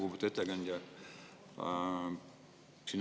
Lugupeetud ettekandja!